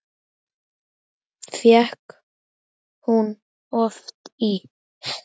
Fékk hún oft ís?